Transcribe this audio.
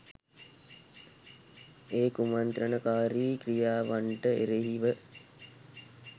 ඒ කුමන්ත්‍රණකාරී ක්‍රියාවන්ට එරෙහිව